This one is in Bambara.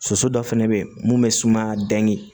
Soso dɔ fɛnɛ bɛ ye mun bɛ suma dɛ